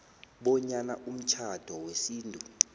bonyana umtjhado wesintu